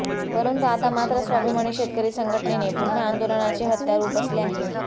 परंतु आता मात्र स्वाभिमानी शेतकरी संघटनेने पुन्हा आंदोलनाचे हत्यार उपसले आहे